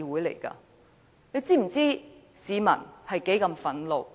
"大家是否知道市民有多憤怒？